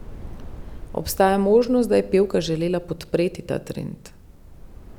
Obstaja možnost, da je pevka želela podpreti ta trend.